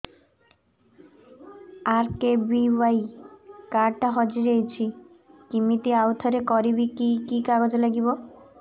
RKBY card ଟା ହଜିଯାଇଛି କିମିତି ଆଉଥରେ କରିବି କି କି କାଗଜ ଲାଗିବ